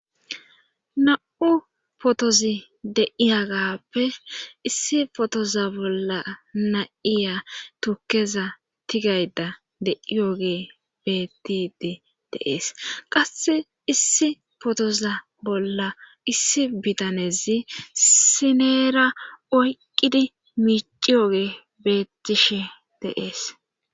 Na7u potozi deiyagappe issi potoza bolla naiya turkeza tigayda deiyoge bettidi deees qass issi potoza bolla issi bitanezi sineera oyqqidi miiciyooge beettishe deees.